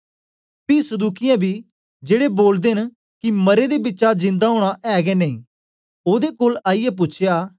पी सदूकियों बी जेड़े बोलदे न कि मरे दे बिचा जिंदा ओना ऐ गै नेई ओदे कोल आईयै पूछया